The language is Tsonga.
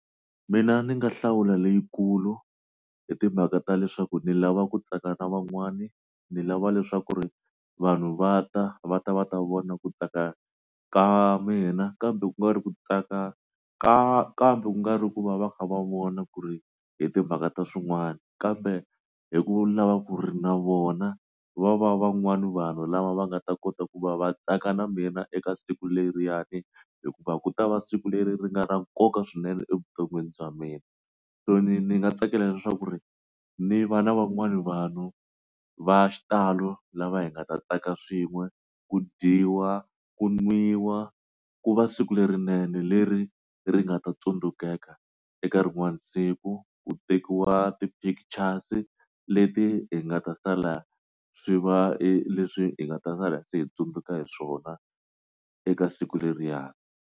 Mina ndzi nga hlawula leyikulu hi timhaka ta leswaku ni lava ku tsaka na van'wani ni lava leswaku ri vanhu va ta va ta va ta vona ku tsaka ka mina kambe ku nga ri ku tsaka kambe kungari ku va va kha va vona ku ri hi timhaka ta swin'wana kambe hi ku lava ku ri na vona va va van'wani vanhu lava va nga ta kota ku va va tsaka na mina eka siku leriyani hikuva ku ta va siku leri ri nga ra nkoka swinene evuton'wini bya mina so ni ni nga tsakela leswaku ri ni vana van'wana vanhu va xitalo lava hi nga ta tsaka swin'we ku dyiwa ku nwiwa ku va siku lerinene leri ri nga ta tsundzukeka eka rin'wana siku ku tekiwa ti-pictures-i leti hi nga ta sala swi va leswi hi nga ta sala se hi tsundzuka hi swona eka siku leriya.